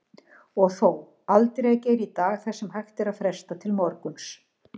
Og þó, aldrei að gera í dag það sem hægt er að fresta til morguns.